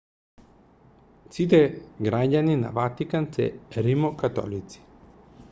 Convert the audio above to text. сите граѓани на ватикан се римокатолици